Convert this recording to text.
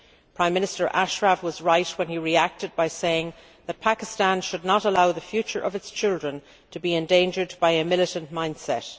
Prime Minister Ashraf was right when he reacted by saying that Pakistan should not allow the future of its children to be endangered by a militant mindset.